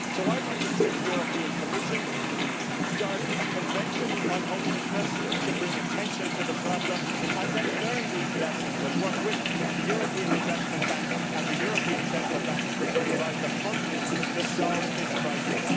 So I want to see the European Commission start a convention on homelessness to bring attention to the problem and then learn these lessons and work with the European Investment Bank and the European Central Bank to provide the funding to solve this crisis.